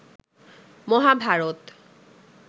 Mahabharata